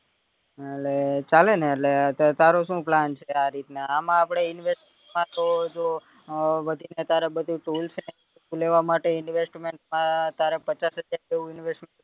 એટલે ચાલે ને એટલે તારું શું plan છે આરીતના આમાં આપડે investment માં તો જો અ વધીને તારું બધું tools છે ઈ લેવા માટે investment માં તારે પચાસ હજાર જેવું investment